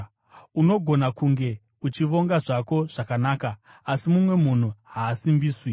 Unogona kunge uchivonga zvako zvakanaka, asi mumwe munhu haasimbiswi.